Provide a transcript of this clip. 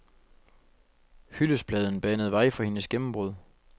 Hyldestpladen banede vej for hendes gennembrud.